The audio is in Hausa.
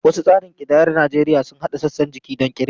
Wasu tsarin kidayar Najeriya sun haɗa sassan jiki don kirga.